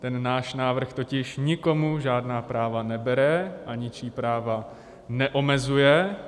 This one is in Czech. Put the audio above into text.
Ten náš návrh totiž nikomu žádná práva nebere a ničí práva neomezuje.